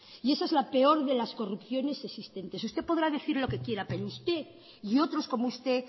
y esa es la peor de las corrupciones existentes usted podrá decir lo que quiera pero usted y otros como usted